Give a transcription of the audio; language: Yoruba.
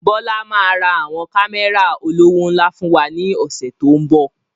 Bọlá máa ra àwọn Kámẹ́rà olówó ńlá fún wa ní ọ̀sẹ̀ to ń bọ̀